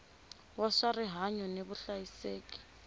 wa swa rihanyu ni vuhlayiseki